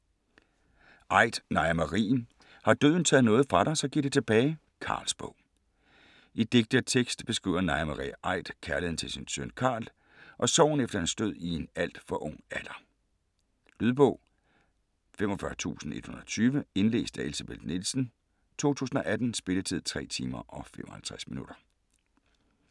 Aidt, Naja Marie: Har døden taget noget fra dig så giv det tilbage: Carls bog I digte og tekst beskriver Naja Marie Aidt kærligheden til sin søn Carl, og sorgen efter hans død i en alt for ung alder. Lydbog 45120 Indlæst af Elsebeth Nielsen, 2018. Spilletid: 3 timer, 55 minutter.